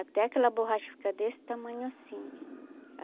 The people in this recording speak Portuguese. Até aquela borracha ficar desse tamanho assim.